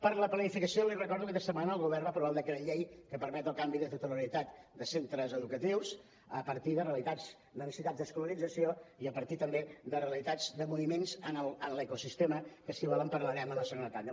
per a la planificació li recordo que aquesta setmana el govern va aprovar el decret llei que permet el canvi de titularitat de centres educatius a partir de realitats de necessitats d’escolarització i a partir també de realitats de moviments en l’ecosistema que si vol en parlarem en la segona tanda